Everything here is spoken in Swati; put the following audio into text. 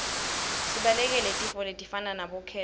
sibalekele tifo letifana nabo khensa